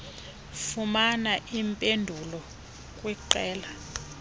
fumana iimpendulo kwiqela